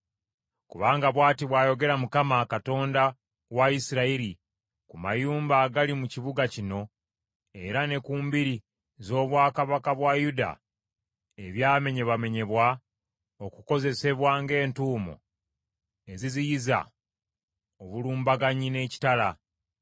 Kubanga bw’ati bw’ayogera Mukama , Katonda wa Isirayiri ku mayumba agali mu kibuga kino era ne ku mbiri z’obwakabaka bwa Yuda ebyamenyebwamenyebwa okukozesebwa ng’entuumo eziziyiza obulumbaganyi n’ekitala